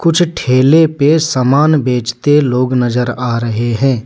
कुछ ठेले पे समान बेचते लोग नजर आ रहे हैं।